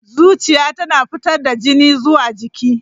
Zuciya tana fitar da jini zuwa jiki.